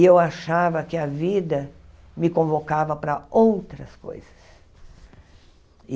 E eu achava que a vida me convocava para outras coisas.